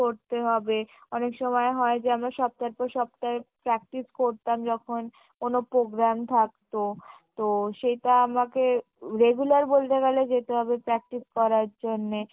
করতে হবে অনেক সময় হয় যে আমার সপ্তাহের পর সপ্তাহ practice করতাম যখন কোনো program থাকত তো সেটা আমাকে regular বলতে গেলে যেতে হবে practice করার জন্যে